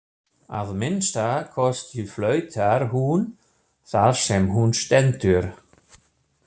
Að minnsta kosti flautar hún þar sem hún stendur.